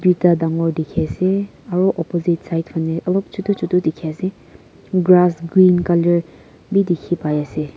ekta tangore teki ase aro opposite side phani olop chutu chutu teki ase grass green colour beh tekipai ase.